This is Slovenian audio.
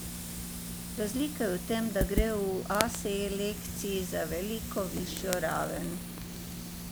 Razlika je v tem, da gre v A selekciji za veliko višjo raven.